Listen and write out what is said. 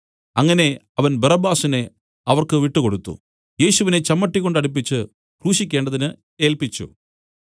അങ്ങനെ അവൻ ബറബ്ബാസിനെ അവർക്ക് വിട്ടുകൊടുത്തു യേശുവിനെ ചമ്മട്ടി കൊണ്ടടിപ്പിച്ച് ക്രൂശിക്കേണ്ടതിന് ഏല്പിച്ചു